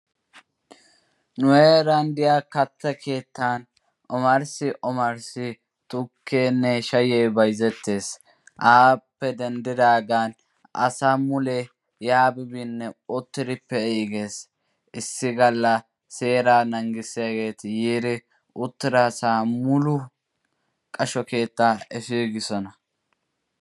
Nu heeran diyaa katta keettan omarssi omaarssi tukkenne shayye bayzzettees. Appe denddidaaga asay mule uttiri pe'igees. Issi galla seeraa naangissiyageeti yiinne uttira asaa mulu qashsho keetta efigiisona.